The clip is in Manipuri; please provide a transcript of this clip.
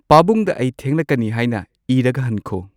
ꯄꯥꯕꯨꯡꯗ ꯑꯩ ꯊꯦꯡꯂꯛꯀꯅꯤ ꯍꯥꯏꯅ ꯏꯔꯒ ꯍꯟꯈꯣ